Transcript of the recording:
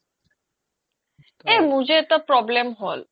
এই যে মোৰ যে এটা problem হ্'ল